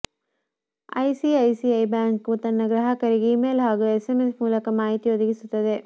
ICICI bank ತನ್ನ ಗ್ರಾಹಕರಿಗೆ email ಹಾಗೂ ಎಸ್ ಎಂಎಸ್ ಮೂಲಕ ಮಾಹಿತಿ ಒದಗಿಸುತ್ತಿದೆ